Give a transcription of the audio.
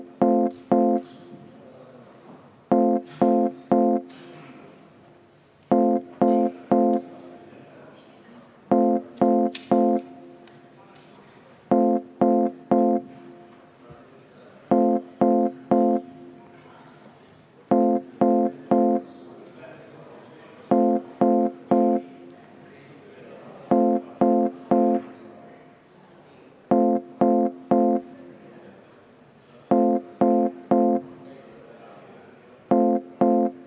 Palun võtta seisukoht ja hääletada!